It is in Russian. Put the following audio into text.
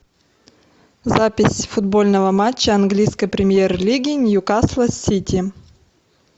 запись футбольного матча английской премьер лиги ньюкасла с сити